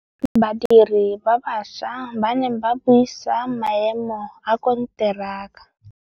Badiri ba baša ba ne ba buisa maêmô a konteraka.